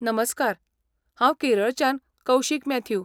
नमस्कार, हांव केरळच्यान कौशिक मॅथ्यू.